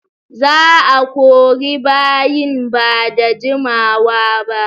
Za'a kori bayin ba da jimawaba.